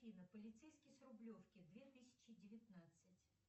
афина полицейский с рублевки две тысячи девятнадцать